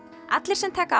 allir sem taka